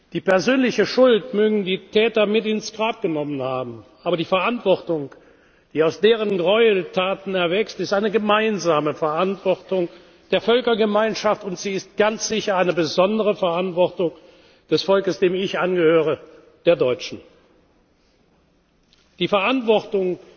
Die persönliche Schuld mögen die Täter mit ins Grab genommen haben, aber die Verantwortung, die aus deren Gräueltaten erwächst, ist eine gemeinsame Verantwortung der Völkergemeinschaft, und sie ist ganz sicher eine besondere Verantwortung des Volkes, dem ich angehöre, der Deutschen. Die Verantwortung,